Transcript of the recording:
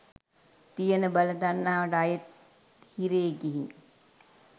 තියෙන බල තණ්හාවට අයෙත් හිරේ ගිහින්